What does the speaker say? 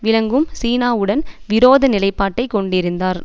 விளங்கும் சீனாவுடன் விரோத நிலைப்பாட்டை கொண்டிருந்தார்